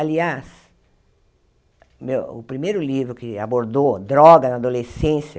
Aliás, meu o primeiro livro que abordou drogas na adolescência